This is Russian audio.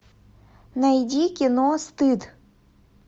найди кино стыд